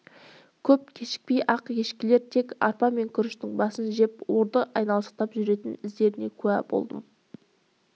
көп кешікпей-ақ ешкілер тек арпа мен күріштің басын жеп орды айналшықтап жүретін іздеріне куә болдым